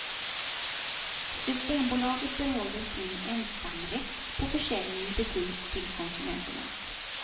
Systembolaget behåller sin ensamrätt på försäljning i butik till konsumenterna.